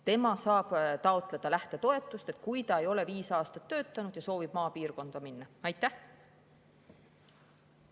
Tema saab taotleda lähtetoetust, kui ta ei ole viis aastat töötanud ja soovib maapiirkonda minna.